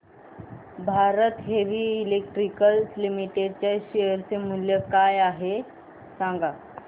Bharat Heavy Electricals Limited च्या share चे मूल्य काय आहे सांगा